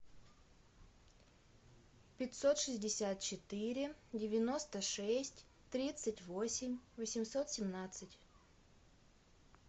пятьсот шестьдесят четыре девяносто шесть тридцать восемь восемьсот семнадцать